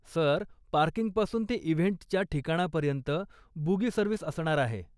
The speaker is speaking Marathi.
सर, पार्किंगपासून ते इव्हेंटच्या ठिकाणापर्यंत बुगी सर्विस असणार आहे.